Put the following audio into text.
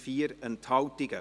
Ja / Oui Nein /